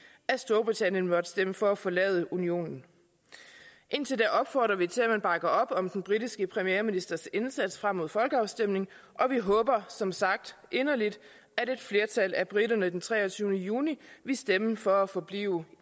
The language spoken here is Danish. at storbritannien måtte stemme for at forlade unionen indtil da opfordrer vi til at man bakker op om den britiske premierministers indsats frem mod folkeafstemningen og vi håber som sagt inderligt at et flertal at briterne den treogtyvende juni vil stemme for at forblive